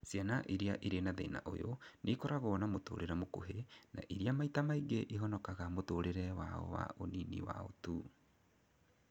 Ciana irĩa irĩ na thĩna ũyũ nĩikoragwo na mũtũrĩre mũkuhĩ, na irĩa maita maingĩ ihonokaga mũtũrire wao wa ũnini wao tu